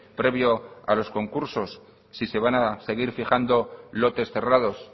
previo a los concursos si se van a seguir fijando lotes cerrados